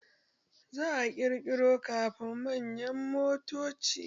Za a ƙirƙiro ƙarin manyan motoci